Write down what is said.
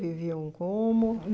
Viviam como?